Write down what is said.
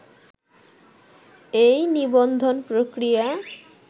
এই নিবন্ধন প্রক্রিয়া